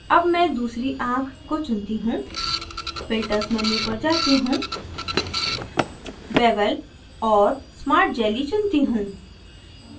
अब मैं दूसरी आँख को चुनती हूँ filters menu पर जाती हूँ bevel और smart jelly चुनती हूँ